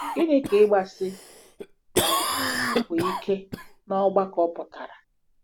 Gịnị ka ‘ịgbasi um mbọ ike’ n’ọgbakọ pụtara?